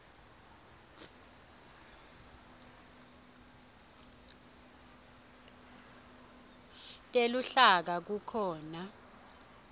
teluhlaka kukhona